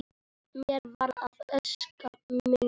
Mér varð að ósk minni.